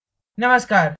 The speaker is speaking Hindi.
नमस्कार